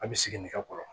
A bɛ siginikɔrɔ